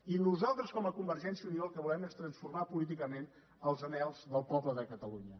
i nosaltres com a convergència i unió el que volem és transformar políticament els anhels del poble de catalunya